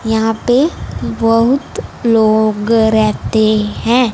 यहां पे बहुत लोग रेहते हैं।